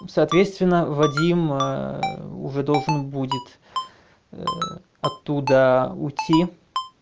ну соответственно вадим ээ уже должен будет оттуда уйти